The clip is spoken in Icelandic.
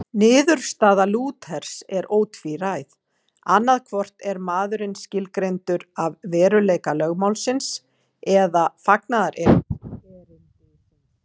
Niðurstaða Lúthers er ótvíræð, annaðhvort er maðurinn skilgreindur af veruleika lögmálsins eða fagnaðarerindisins.